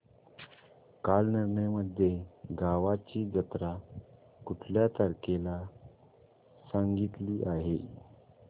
कालनिर्णय मध्ये गावाची जत्रा कुठल्या तारखेला सांगितली आहे